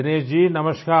दिनेश जी नमस्कार